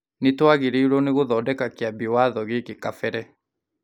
Nĩ twagĩrĩirwo nĩ gũthondeka Kĩambi Watho gĩkĩ kabere.